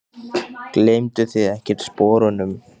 Gleymduð þið ekkert sporunum?